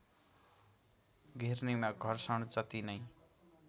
घिर्नीमा घर्षण जति नै